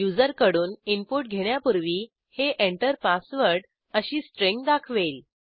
युजरकडून input घेण्यापूर्वी हे Enter password अशी स्ट्रिंग दाखवेल